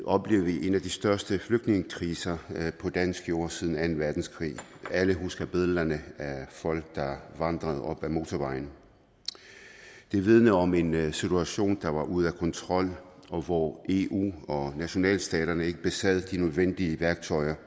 oplevede vi en af de største flygtningekriser på dansk jord siden anden verdenskrig alle husker billederne af folk der vandrede op ad motorvejen det vidnede om en en situation der var ude af kontrol og hvor eu og nationalstaterne ikke besad de nødvendige værktøjer